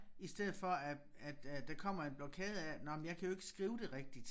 I stedet for at at at der kommer en blokade af at nåh men jeg kan jo ikke skrive det rigtigt